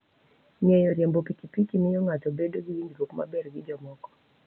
Ng'eyo riembo pikipiki miyo ng'ato bedo gi winjruok maber gi jomoko.